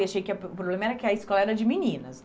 E achei que a o problema era que a escola era de meninas.